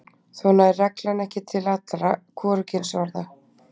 Þó nær reglan ekki til allra hvorugkynsorða.